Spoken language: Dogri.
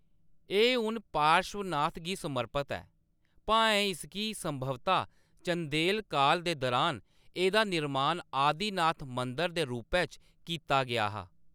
एह्‌‌ हून पार्श्वनाथ गी समर्पत ऐ, भाएं इसगी संभवतः चंदेल काल दे दुरान एह्‌‌‌दा निर्माण आदिनाथ मंदर दे रूपै च कीता गेआ हा।